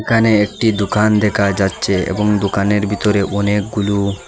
এখানে একটি দুকান দেখা যাচ্ছে এবং দুকানের ভিতরে অনেকগুলু--